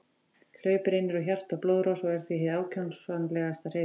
Hlaup reynir á hjarta og blóðrás og er því hin ákjósanlegasta hreyfing.